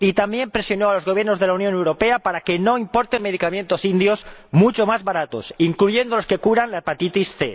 Y también presionó a los Gobiernos de la Unión Europea para que no importasen medicamentos indios, mucho más baratos, incluyendo los que curan la hepatitis C.